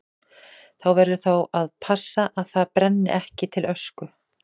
Þú verður þá að passa að það brenni ekki til ösku.